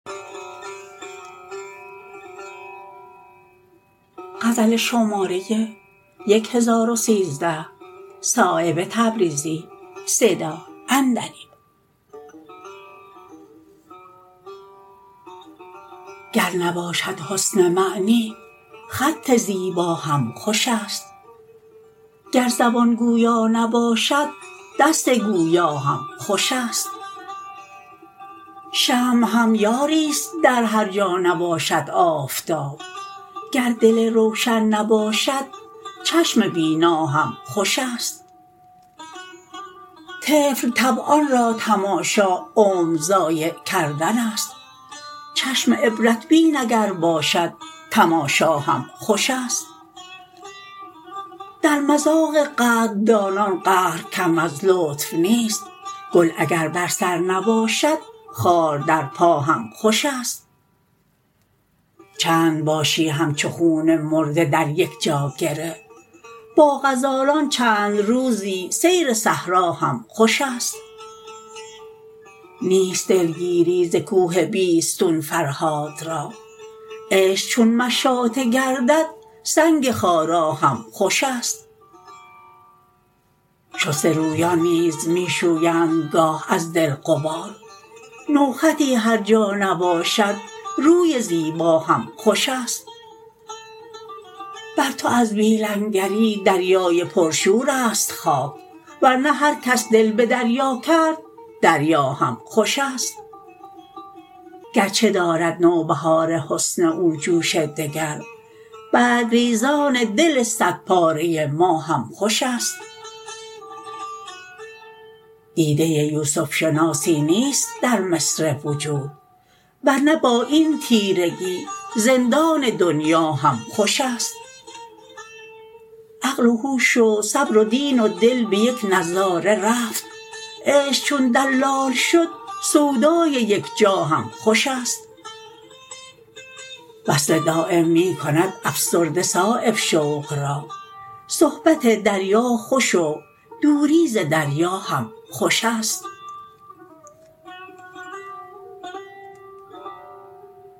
گر نباشد حسن معنی خط زیبا هم خوش است گر زبان گویا نباشد دست گویا هم خوش است شمع هم یاری است در هر جا نباشد آفتاب گر دل روشن نباشد چشم بینا هم خوش است طفل طبعان را تماشا عمر ضایع کردن است چشم عبرت بین اگر باشد تماشا هم خوش است در مذاق قدردانان قهر کم از لطف نیست گل اگر بر سر نباشد خار در پا هم خوش ا ست چند باشی همچو خون مرده در یک جا گره با غزالان چند روزی سیر صحرا هم خوش است نیست دلگیری ز کوه بیستون فرهاد را عشق چون مشاطه گردد سنگ خارا هم خوش است شسته رویان نیز می شویند گاه از دل غبار نوخطی هر جا نباشد روی زیبا هم خوش است بر تو از بی لنگری دریای پرشورست خاک ورنه هر کس دل به دریا کرد دریا هم خوش است گرچه دارد نوبهار حسن او جوش دگر برگریزان دل صد پاره ما هم خوش است دیده یوسف شناسی نیست در مصر وجود ورنه با این تیرگی زندان دنیا هم خوش است عقل و هوش و صبر و دین و دل به یک نظاره رفت عشق چون دلال شد سودای یکجا هم خوش است وصل دایم می کند افسرده صایب شوق را صحبت دریا خوش و دوری ز دریا هم خوش است